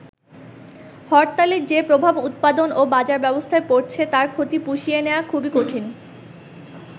হরতালের যে প্রভাব উৎপাদন ও বাজার ব্যবস্থায় পড়ছে, তার ক্ষতি পুষিয়ে নেয়া খুবই কঠিন।